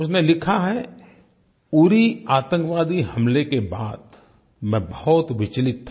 उसने लिखा है उरी आतंकवादी हमले के बाद मैं बहुत विचलित था